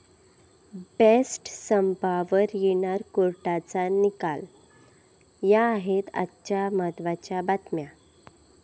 best संपावर येणार कोर्टाचा निकाल, या आहेत आजच्या महत्त्वाच्या बतम्या